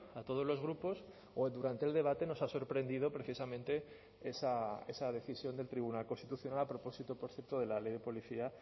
a todos los grupos o durante el debate nos ha sorprendido precisamente esa decisión del tribunal constitucional a propósito por cierto de la ley de policía